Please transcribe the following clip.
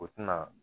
O tina